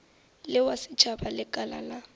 le wa setšhaba lekala la